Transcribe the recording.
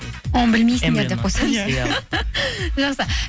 оны білмейсіздер деп қойсаңызшы жақсы